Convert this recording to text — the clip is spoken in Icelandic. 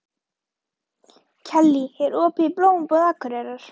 Kellý, er opið í Blómabúð Akureyrar?